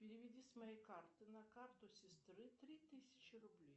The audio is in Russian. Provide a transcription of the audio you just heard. переведи с моей карты на карту сестры три тысячи рублей